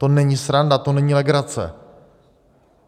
To není sranda, to není legrace.